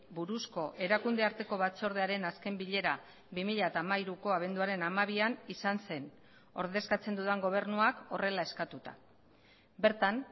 buruzko erakunde arteko batzordearen azken bilera bi mila hamairuko abenduaren hamabian izan zen ordezkatzen dudan gobernuak horrela eskatuta bertan